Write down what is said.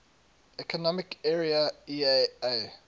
economic area eea